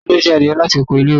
talo jí adie lati ọkọ ile-iwe?